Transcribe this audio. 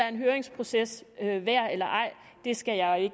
en høringsproces værd eller ej skal jeg